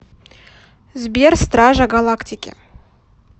сбер стража галактики